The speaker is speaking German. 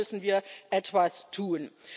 Ich glaube, hier müssen wir etwas tun.